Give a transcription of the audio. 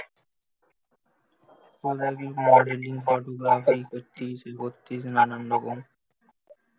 modelling photography এ করতিস সে করতিস নানান রকম